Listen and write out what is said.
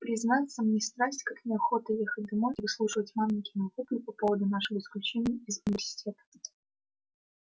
признаться мне страсть как неохота ехать домой и выслушивать маменькины вопли по поводу нашего исключения из университета